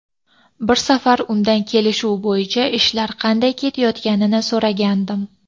Bir safar undan kelishuv bo‘yicha ishlar qanday ketayotganini so‘ragandim.